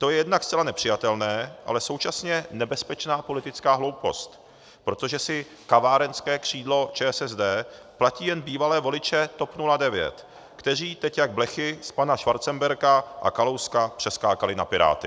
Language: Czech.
To je jednak zcela nepřijatelné, ale současně nebezpečná politická hloupost, protože si kavárenské křídlo ČSSD platí jen bývalé voliče TOP 09, kteří teď jak blechy z pana Schwarzenberga a Kalouska přeskákali na Piráty.